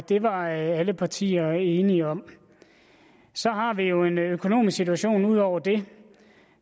det var alle partier enige om så har vi jo en økonomisk situation ud over det